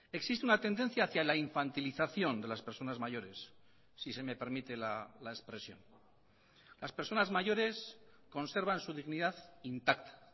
existe una tendencia hacia la infantilización de las personas mayores si se me permite la expresión las personas mayores conservan su dignidad intacta